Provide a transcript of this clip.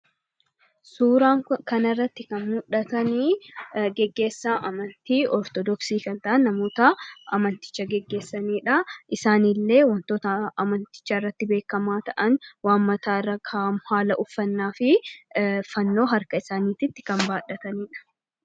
Suuraa kana irratti kan muldhatani gaggeessaa amantii Ortodoksii kan ta'an namoota amanticha gaggeessanidha. Isaanillee wantoota amanticha irratti beekkamaa ta'an: waan mataa irra kaahamu, haala uffannaa fi fannoo harka isaanititti kan baadhataniidha.